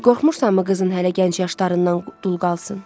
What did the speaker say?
Qorxmursanmı qızın hələ gənc yaşlarından dul qalsın?